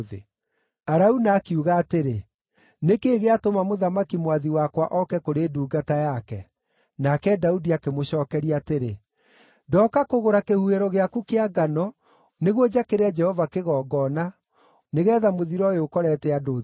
Arauna akiuga atĩrĩ, “Nĩ kĩĩ gĩatũma mũthamaki mwathi wakwa oke kũrĩ ndungata yake?” Nake Daudi akĩmũcookeria atĩrĩ, “Ndooka kũgũra kĩhuhĩro gĩaku kĩa ngano, nĩguo njakĩre Jehova kĩgongona, nĩgeetha mũthiro ũyũ ũkorete andũ ũthire.”